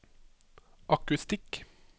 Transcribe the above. akustikk